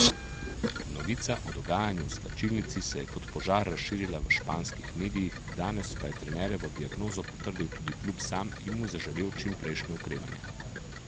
Novica o dogajanju v slačilnici se je kot požar razširila v španskih medijih, danes pa je trenerjevo diagnozo potrdil tudi klub sam in mu zaželel čimprejšnje okrevanje.